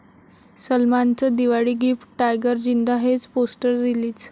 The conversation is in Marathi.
सलमानचं दिवाळी गिफ्ट, 'टायगर जिंदा हे'च पोस्टर रिलीज